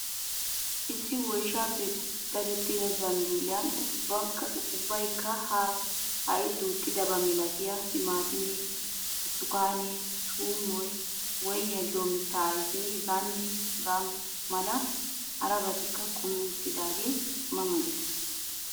Issi woyshshaappe dadettida zambbiliyan ubbaykka ha duuxxidabaa milatiya timaatimee, burtukaane, tuumoy, woyniya giyo mittaa ayfeenne hagaa mala harabaati kumi uttaagee ma ma gees.